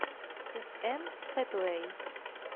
с энн хэтэуэй